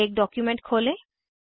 एक डॉक्युमेंट खोलें